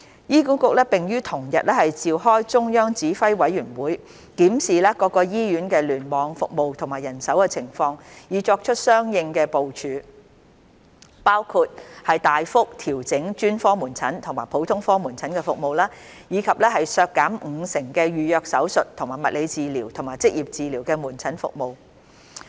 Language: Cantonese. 醫管局並於同日召開中央指揮委員會，檢視各醫院聯網服務和人手情況，以作出相應部署，包括大幅調整專科門診和普通科門診服務，以及削減五成的預約手術和物理治療及職業治療門診服務。